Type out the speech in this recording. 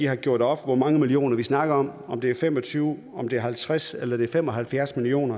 har gjort op hvor mange millioner vi snakker om om det er fem og tyve halvtreds eller fem og halvfjerds million